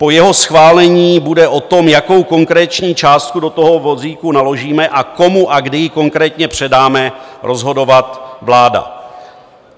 Po jeho schválení bude o tom, jakou konkrétní částku do toho vozíku naložíme a komu a kdy ji konkrétně předáme, rozhodovat vláda.